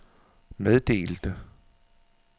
meddelte